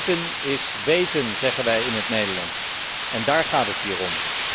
Meten is weten, zeggen wij in het Nederlands en daar gaat het hier om.